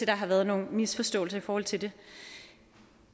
der har været nogle misforståelser i forhold til det